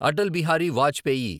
Atal Bihari Vajpayee